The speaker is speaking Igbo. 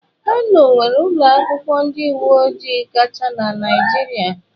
Kano nwere ụlọ akwụkwọ ndị uwe ojii kacha na Naịjirịa.